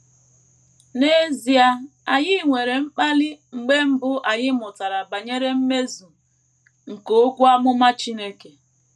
N’ezie anyị nwere mkpali mgbe mbụ anyị mụtara banyere mmezu nke okwu amụma Chineke.